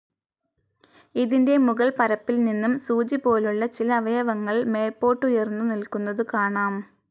ഇതിന്റെ മുകൾപ്പരപ്പിൽനിന്നും സൂചിപോലുള്ള ചില അവയവങ്ങൾ മേല്പോട്ടുയർന്നു നില്ക്കുന്നതു കാണാം.